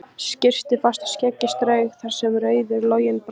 Skyrpti fast og skeggið strauk þar sem rauður loginn brann.